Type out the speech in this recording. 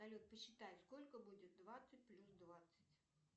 салют посчитай сколько будет двадцать плюс двадцать